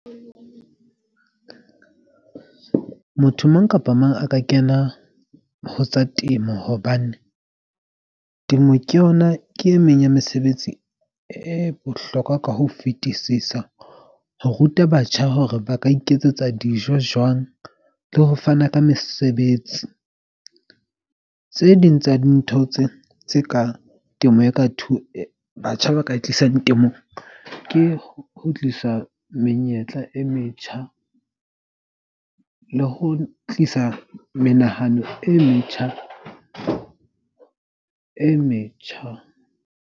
Motho mang kapa mang a ka kena ho tsa temo. Hobane temo ke yona ke e meng ya mesebetsi e bohlokwa ka ho fetisisa ho ruta batjha, hore ba ka iketsetsa dijo jwang le ho fana ka mesebetsi. Tse ding tsa dintho tse tse ka temo e ka batjha ba ka tlisang temong ke ho kgutlisa menyetla e metjha le ho tlisa menahano e metjha e metjha.